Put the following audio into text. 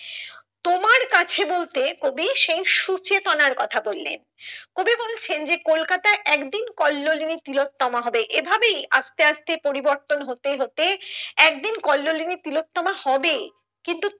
তোমার কাছে বলতে কবি সেই সুচেতনার কথা বললেন কবি বলছেন যে কলকাতায় একদিন কল্লোলিনী তিলোত্তমা হবে এভাবেই আস্তে আস্তে পরিবর্তন হতে হতে একদিন কল্লোলিনী তিলোত্তমা হবে কিন্তু